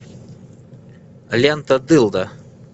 лента дылда